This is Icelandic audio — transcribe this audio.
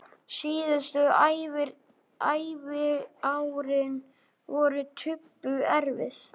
Síðustu æviárin voru Tobbu erfið.